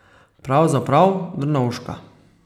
Pravzaprav Drnovška.